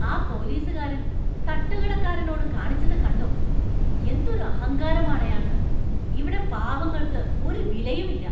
ആ പോലീസുകാരന്‍ തട്ടുക്കടക്കാരനോട് കാണിച്ചത് കണ്ടോ?, എന്തൊരു അഹങ്കാരമാണ് അയാള്‍ക്ക്, ഇവിടെ പാവങ്ങള്‍ക്ക് ഒരു വിലയുമില്ല.